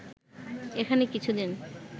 এখানে কিছু দিন